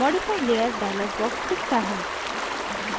modify layer dialog box दिखता है